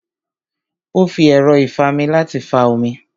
Ó fi ẹ̀rọ́ ìfami láti fa omi